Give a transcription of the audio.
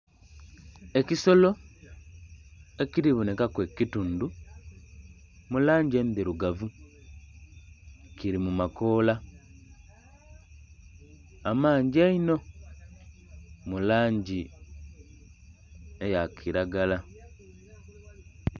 Ekisolo ekiri bonhekaku ekitundhu mu langi endhirugavu kiri mu makoola amangi einho mu langi eya kilagala.